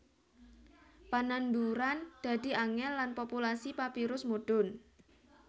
Pananduran dadi angèl lan populasi papirus mudhun